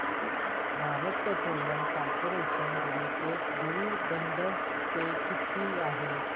Bharat petroleum corporation limited dividend pay किती आहे